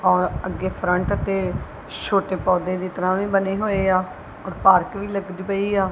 ਔਰ ਅੱਗੇ ਫਰੰਟ ਤੇ ਛੋਟੇ ਪੌਧੇ ਦੀ ਤਰ੍ਹਾਂ ਵੀ ਬਣੇ ਹੋਏ ਆ ਔਰ ਪਾਰਕ ਵੀ ਲੱਗ ਦੀ ਪਈ ਆ।